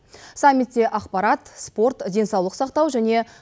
саммитте ақпарат спорт денсаулық сақтау және